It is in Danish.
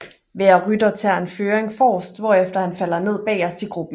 Hver rytter tager en føring forrest hvorefter han falder ned bagerst i gruppen